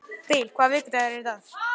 Bil, hvaða vikudagur er í dag?